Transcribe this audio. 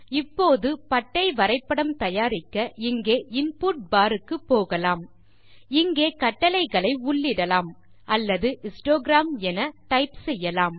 இப்போது பட்டை வரைபடம் தயாரிக்க இங்கே இன்புட் பார் க்கு போகலாம் இங்கே கட்டளைகளை உள்ளிடலாம் அல்லது ஹிஸ்டோகிராம் என டைப் செய்யலாம்